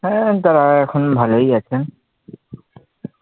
হ্যাঁ তারা এখন ভালোই আছেন.